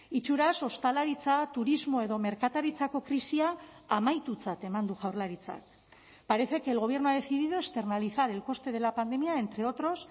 itxuraz ostalaritza turismo edo merkataritzako krisia amaitutzat eman du jaurlaritzak parece que el gobierno ha decidido externalizar el coste de la pandemia entre otros